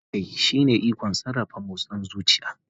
Kamun kai shine ikon sarrafa motsin zuciya.